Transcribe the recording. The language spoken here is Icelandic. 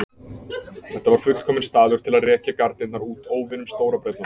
Þetta var fullkominn staður til að rekja garnirnar út óvinum Stóra-Bretlands.